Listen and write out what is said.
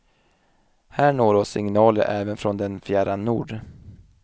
Här når oss signaler även från den fjärran nord.